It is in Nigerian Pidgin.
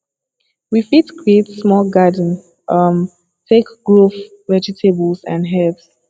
we fit create small garden um take grow vegetables and herbs